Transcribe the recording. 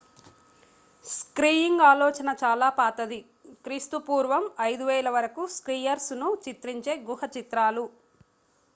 skiing ఆలోచన చాలా పాతది క్రీ.పూ 5000 వరకు స్కియర్స్ ను చిత్రించే గుహ చిత్రాలు